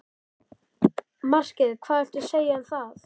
Markið hvað viltu segja um það?